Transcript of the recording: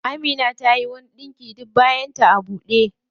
Amina tayi wani ɗinki duk bayan ta a ɓude.